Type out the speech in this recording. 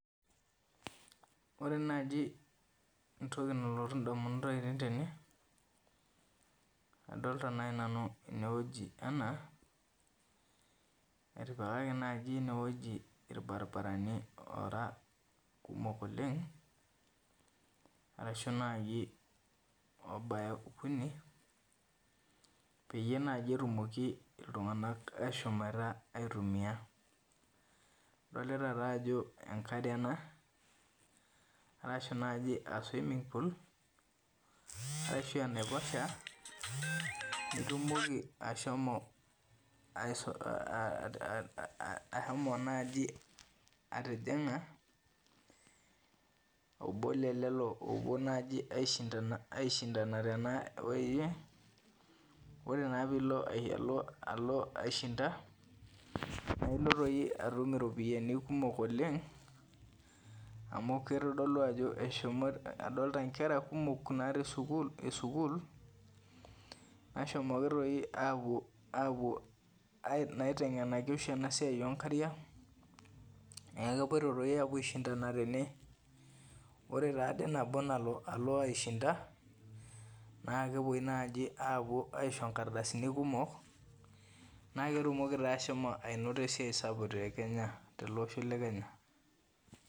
Ore naji entoki nalotu indamunot ainei tene, adolta nai nanu enewueji enaa, etipikaki naji enewueji irbaribarani ora kumok oleng, arashu naji obaya okuni, peyie naji etumoki iltung'anak ashomoita aitumia. Adolita tajo enkare ena, arashu naji a swimming pool ,ashu enaiposha, nitumoki ashomo ahomo naji atijing'a, obo lelelo opuo naji aishindana tenawoi, ore naa pilo alo aishinda, nailo toi atum iropiyiani kumok oleng, amu kitodolu ajo eshomoita adolta nkera kumok natii sukuul esukuul, neshomoki toi apuo naiteng'enaki oshi enasiai onkariak, neeku kepoito toi apuo aishandana tene, ore taade nabo nalo alo aishinda, na kepoi naji apuo aisho nkardasini kumok, na ketumoki ashomo ainoto esiai sapuk te Kenya, telosho le Kenya.